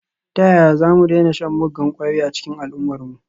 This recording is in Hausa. Ta yaya za mu daina shan muggan kwayoyi a cikin al’ummarmu?